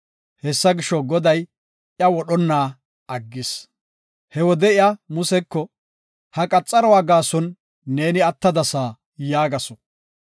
Hessa gisho, Goday iya wodhonna aggis. He wode iya Museko, “Ha qaxaruwa gaason neeni attadasa” yaagasu.